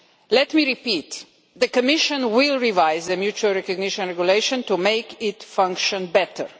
Let me repeat the Commission will revise the Mutual Recognition Regulation to make it function better.